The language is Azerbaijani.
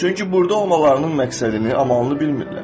Çünki burda olmalarının məqsədini, amanını bilmirlər.